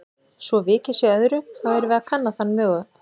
Svo vikið sé að öðru, þá erum við að kanna þann mögu